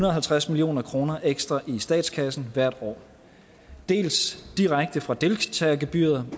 og halvtreds million kroner ekstra i statskassen hvert år dels direkte fra deltagergebyret